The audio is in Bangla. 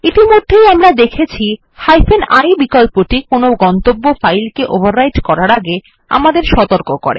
ইতিমধ্যে আমরা দেখেছি I বিকল্পটি কোনো গন্তব্য ফাইল কে ওভাররাইট করার আগে আমাদের সতর্ক করে